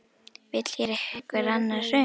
Vill hér einhver annað hrun?